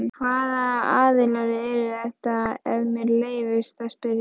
Hvaða aðilar eru þetta ef mér leyfist að spyrja?